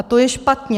A to je špatně.